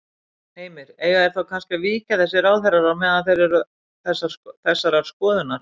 Heimir: Eiga þeir þá kannski að víkja þessir ráðherrar á meðan þeir eru þessarar skoðunar?